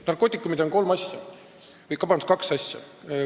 Narkootikumide puhul on olulised kaks asja.